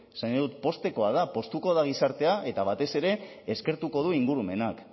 esan nahi dut poztekoa da poztuko da gizartea eta batez ere eskertuko du ingurumenak